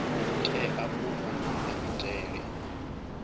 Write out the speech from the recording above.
tea u vha na maitele